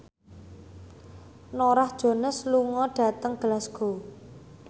Norah Jones lunga dhateng Glasgow